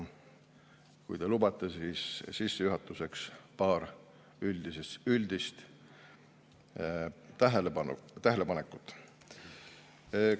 Kui te lubate, siis sissejuhatuseks paar üldist tähelepanekut.